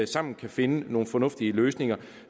sammen kan finde nogle fornuftige løsninger